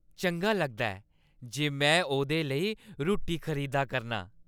चंगा लगदा ऐ जे में ओह्दे लेई रुट्टी खरीदा करनां।